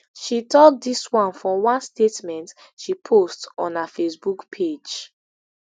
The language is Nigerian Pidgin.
she tok dis one for one statement she post on her facebook page